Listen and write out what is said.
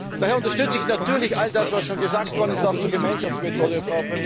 Daher unterstütze ich natürlich all das, was schon gesagt worden ist, auch zur Gemeinschaftsmethode.